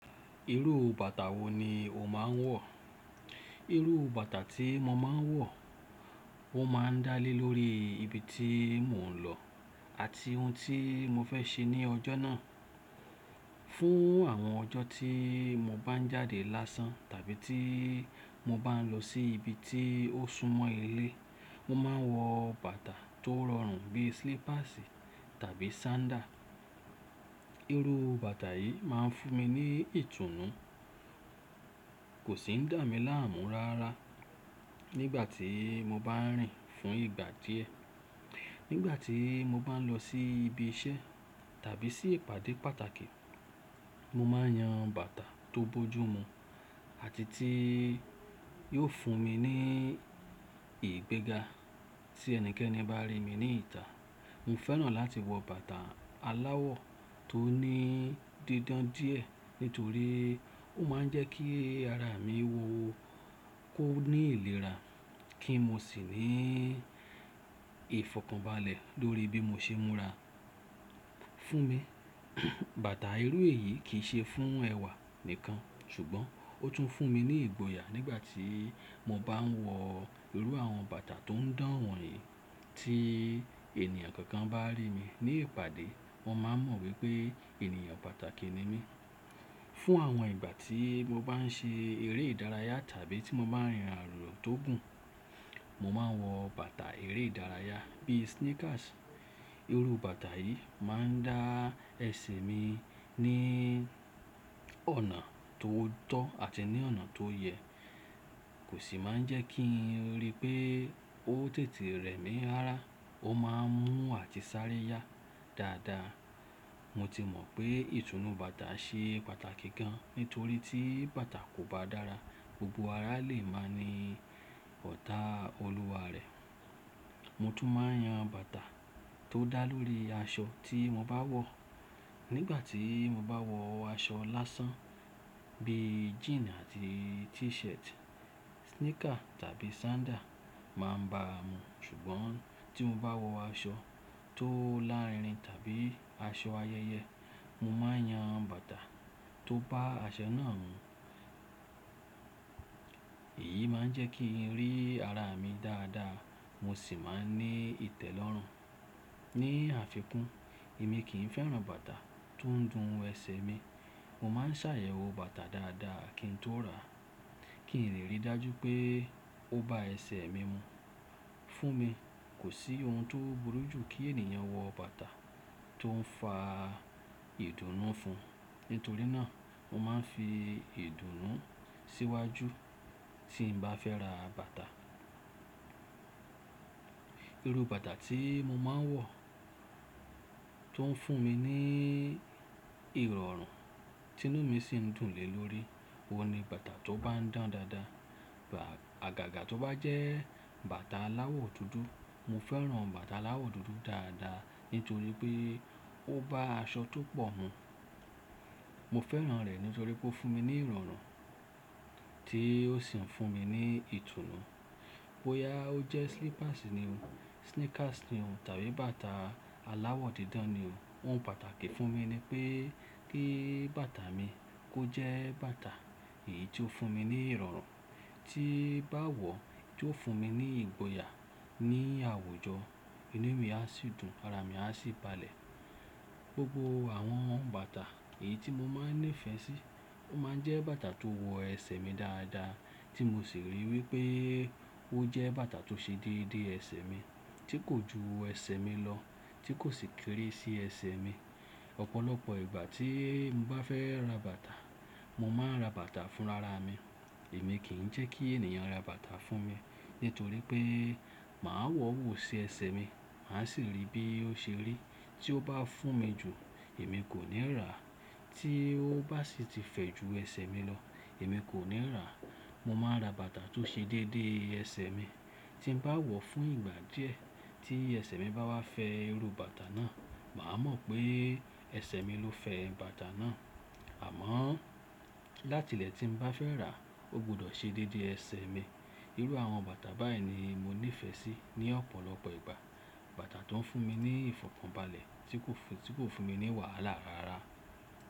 Irú bàtà wo ni o máa ń wọ̀? Irú bàtà tí mo máa ń wọ̀ ó máa ń dá lé lórí ibi tí mò ń lọ àti ohun tí mo fẹ́ ṣe ní ọjọ́ náà. Fún àwọn ọjọ́ tí mo bá ń jáde lásán tàbí tí mo bá ń lọ sí ibi tí ó súnmọ́ ilé, mo máa ń wọ bàtà tó rọrùn bíi slippers tàbí sandal. Irú bàtà yìí máa ń fún mi ní ìtùnú, kò sì ń dà mí láàmú rara nígbà tí mo bá ń rìn fún ìgbà díẹ̀. Nígbà tí mo bá ń lọ sí ibi iṣẹ́ tàbí sí ìpàdé pàtàkì, mo máa ń yan bàtà tó bojú mu àti tí yóò fún mi ní ìgbéga tí ẹnikẹ́ni bá rí mi ní ìtà. Mo fẹ́ràn láti wọ bàtà aláwọ̀ tó ní dídán díẹ̀ nítorí ó máa ń jẹ́ kí ara mi wo ó kó ní ìlera kí moo n sì ní ìfọ̀kànbalẹ̀ lórí bí mo ṣe múra fún mi. Bàtà irú èyí kì í ṣe fún ẹwà nìkan ṣùgbọ́n ó tún fún mi ní ìgboyà nígbà tí mo bá ń wọ irú àwọn bàtà tó ń dán wọn yìí tí ènìyàn kankan bá rí mi ní ìpàdé wọ́n máa mọ̀ wípé ènìyàn pàtàkì ni mí. Fún àwọn ìgbà tí mo bá ń ṣe eré ìdárayá tàbí tí mo bá ń rìn ààrọ̀ tó gùn, mo máa ń wọ bàtà eré ìdárayá bíi sneakers. Irú bàtà yìí máa ń dá ẹsẹ̀ mi ní ọ̀nà tó tọ́ àti ní ọ̀nà tó yẹ, kò sì máa ń jẹ́ kí ń rí pé ó tètè rẹ mí rara, ó máa ń mú àti sáré yá dáadáa. Mo ti mọ̀ pé ìtùnú bàtà ṣe pàtàkì gan nítorí tí bàtà kò bá dára, gbogbo ara lè máa ní ọ̀tá olúwa rẹ̀. Mo tún máa ń yan bàtà tó dá lórí aṣọ tí mo bá wọ̀. Nígbà tí mo bá wọ aṣọ lásán bí jeani àti t-shirt, sneaker tàbí sandal máa ń ba mu ṣùgbọ́n tí mo bá wọ aṣọ tó lárinrin tàbí aṣọ ayẹyẹ, mo máa ń yan bàtà tó bá aṣọ náà mu. Èyí máa ń jẹ́ kí ń rí ara mi dáadáa mo sì máa ń ní ìtẹ́lọ́rùn. Ni àfikún, èmi kì í fẹ́ran bàtà tó ń dun ẹsẹ̀ mi. Mo máa ń ṣàyẹ̀wò bàtà dáadáa kí n tó ràá kí n lè rí dájú pé ó ba ẹsẹ̀ mi mu. Fún mi, kò sí ohun tó burú ju kí ènìyàn wọ bàtà tó ń fa ìdùnnú fún. Nítorí náà, mo máa ń fi ìdùnnú síwájú tí n bá fẹ́ ra bàtà. Irú bàtà tí mo máa ń wọ̀ tó ń fún mi ní ìrọ̀rùn tí inú mi sì ń dùn lé lórí, òun ni bàtà tó bá ń dán dáadáa. Àgàgà tó bá jẹ́ bàtà aláwọ̀ dúdú, mo fẹ́ran bàtà aláwọ̀ dúdú dáadáa nítorí pé ó bá aṣọ tó pọ̀ mu. Mo fẹ́ran rẹ̀ nítorí pé ó fún mi ní ìrọ̀rùn tí ó sì ń fún mi ní ìtùnú. Bóyá ó jẹ́ slippers ni o, sneakers ni o tàbí bàtà aláwọ̀ dídán ni o, ohun pàtàkì fún mi ni pé kí bàtà mi kó jẹ́ bàtà èyí tó fún mi ní ìrọ̀rùn tí bá wọ̀, tí ó fún mi ní ìgboyà ní àwùjọ, inú mi á sì dùn, ara mi á sì balẹ̀. Gbogbo àwọn bàtà èyí tí mo máa ń nífẹ̀ẹ́ sí, ó máa ń jẹ́ bàtà tó wọ ẹsẹ̀ mi dáadáa tí mo sì rí wípé ó jẹ́ bàtà tó ṣe déédé ẹsẹ̀ mi, tí kò ju ẹsẹ̀ mi lọ, tí kò sì kéré sí ẹsẹ̀ mi. Ọ̀pọ̀lọpọ̀ ìgbà tí mo bá fẹ́ ra bàtà, mo máa ń ra bàtà fún rara mi. Èmi kì í jẹ́ kí ènìyàn ra bàtà fún mi nítorí pé màá wọ̀ wò ó sí ẹsẹ̀ mi, mà á sì rí bí ó ṣe rí. Tí ó bá fún mi jù, èmi kò ní rà á, tí ó bá sì ti fẹ́ ju ẹsẹ̀ mi lọ, èmi kò ní rà á. Mo máa ń ra bàtà tó ṣe déédé ẹsẹ̀ mi tí ń bá wọ̀ fún ìgbà díẹ̀ tí ẹsẹ̀ mi bá wá fẹ́ irú bàtà náà, màá mọ̀ pé ẹsẹ̀ mi ló fẹ́ bàtà náà. Àmọ́ láti ìlẹ̀ tí ń bá fẹ́ rà á, ó gbọdọ̀ ṣe déédé ẹsẹ̀ mi. Irú àwọn bàtà báyìí ni mo nífẹ̀ẹ́ sí ní ọ̀pọ̀lọpọ̀ ìgbà. Bàtà tó ń fún mi ní ìfọ̀kànbalẹ̀ tí kò fún, tí kò fún mi ní wàhálà rara.